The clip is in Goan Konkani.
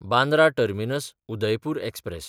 बांद्रा टर्मिनस–उदयपूर एक्सप्रॅस